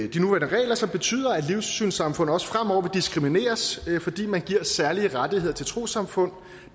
de nuværende regler som betyder at livssynssamfund også fremover vil blive diskrimineret fordi man giver særlige rettigheder til trossamfund